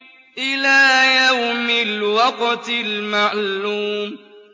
إِلَىٰ يَوْمِ الْوَقْتِ الْمَعْلُومِ